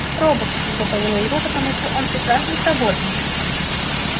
роботс изготовила его потому что он прекрасно сработан